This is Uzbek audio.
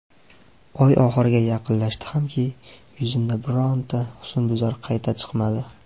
Oy oxiriga yaqinlashdi hamki, yuzimda bironta husnbuzar qayta chiqmadi.